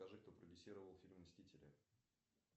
скажи кто продюсировал фильм мстители